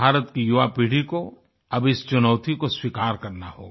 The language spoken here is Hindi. भारत की युवापीढ़ी को अब इस चुनौती को स्वीकार करना होगा